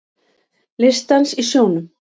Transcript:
Listdans í sjónum